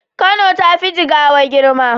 Kano tafi jigawa girma